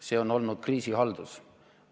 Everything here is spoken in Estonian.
See on olnud kriisihaldus.